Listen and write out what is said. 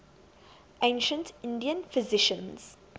ancient indian physicians